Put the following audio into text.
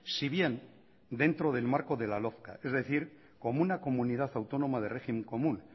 si bien dentro del marco de la lógica es decir como una comunidad autónoma de régimen común